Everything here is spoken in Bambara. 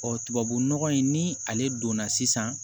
tubabunɔgɔ in ni ale donna sisan